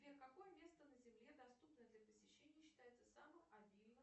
сбер какое место на земле доступное для посещения считается самым обильным